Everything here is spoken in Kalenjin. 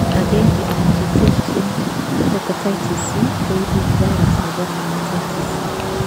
agengei en cheterchin, hepatitis C,koibu virus nebo hepatitis C